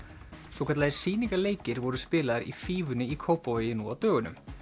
svokallaðir voru spilaðir í fífunni í Kópavogi nú á dögunum